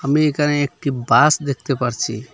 আমি এখানে একটি বাস দেখতে পারছি।